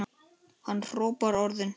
Hann hrópar orðin.